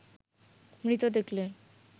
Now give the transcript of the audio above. মৃত দেখলে